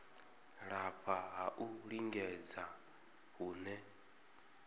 lafha ha u lingedza hune